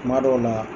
Kuma dɔw la